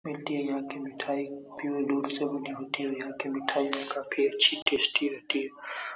मिलती है यहाँ की मिठाई प्योर दूध से बनी होती है और यहाँ के मिठाई काफ़ी अच्छी टेस्टी रहती है।